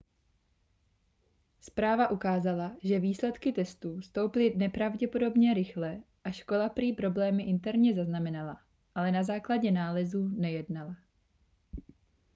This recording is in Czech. zpráva ukázala že výsledky testů stouply nepravděpodobně rychle a škola prý problémy interně zaznamenala ale na základě nálezů nejednala